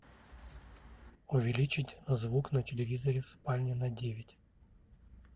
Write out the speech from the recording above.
увеличить звук на телевизоре в спальне на девять